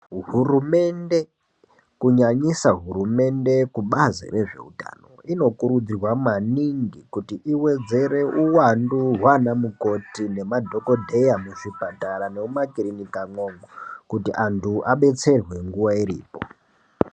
Hurumende kunyanyisa hurumende yekubazi rezveutano inokurudzirwa maningi kuti iwedzere uwandu hwana mukoti nemadhokoteya muzvipatara nemuma kirinika imwomo kuti antu abetserwe nguwa iripo.